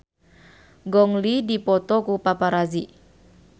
Gong Li dipoto ku paparazi